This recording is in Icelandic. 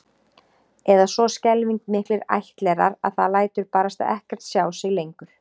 Eða svo skelfing miklir ættlerar að það lætur barasta ekkert sjá sig lengur